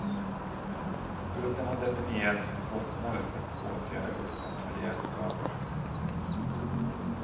Skulden har definierats som kostnaden för att åtgärda uppkomna miljöskador.